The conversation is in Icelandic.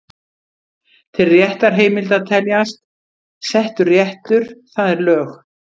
Til réttarheimilda teljast: Settur réttur, það er lög.